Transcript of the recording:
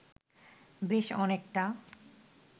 বেশ অনেকটা